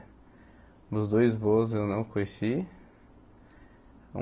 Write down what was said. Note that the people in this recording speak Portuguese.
Meus dois vôs eu não conheci.